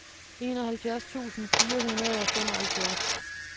enoghalvfjerds tusind fire hundrede og femoghalvfjerds